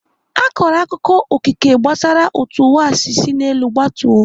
Akọrọ akụkọ Okike gbasara otú ụwa si sina n'elu gbatuo.